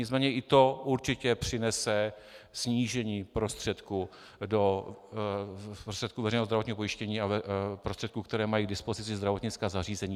Nicméně i to určitě přinese snížení prostředků veřejného zdravotního pojištění a prostředků, které mají k dispozici zdravotnická zařízení.